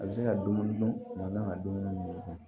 A bɛ se ka dumuni dun kuma n'a ka dumuni minɛ